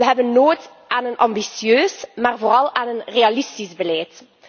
Wij hebben nood aan een ambitieus, maar vooral aan een realistisch beleid.